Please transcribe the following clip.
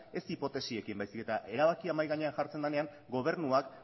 ez hipotesiekin baizik eta erabakia mahai gainean jartzen denean gobernua